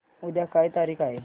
उद्या काय तारीख आहे